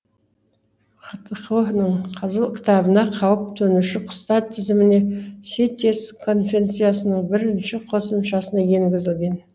хтқо ның қызыл кітабына қауіп төнуші құстар тізіміне ситес конвенциясының бірінші қосымшасына енгізілген